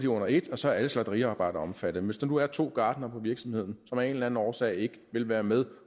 under ét så er alle slagteriarbejdere omfattet men hvis der nu er to gartnere på virksomheden som af en eller anden årsag ikke vil være med